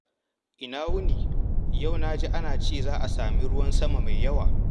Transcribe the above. Ina wuni? Yau na ji an ce za a sami ruwan sama mai yawa.